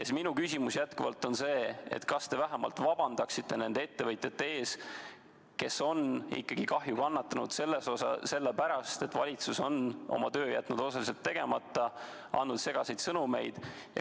Minu küsimus on jätkuvalt see: kas te vähemalt vabandaksite nende ettevõtjate ees, kes on kahju kandnud, sest valitsus on oma töö jätnud osaliselt tegemata, andnud segaseid sõnumeid?